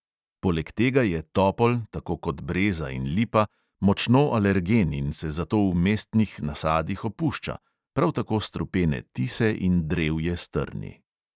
Poleg tega je topol, tako kot breza in lipa, močno alergen in se zato v mestnih nasadih opušča, prav tako strupene tise in drevje s trni.